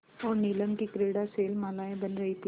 और नीलम की क्रीड़ा शैलमालाएँ बन रही थीं